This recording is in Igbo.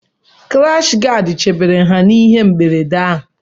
Kirashi gadị chebere ha n’ihe mberede